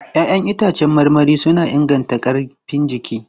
Ya'yan itãcen marmari suna inganta ƙarfin jiki.